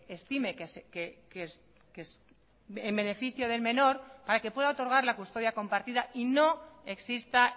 estime en beneficio del menor para que pueda otorgar la custodia compartida y no exista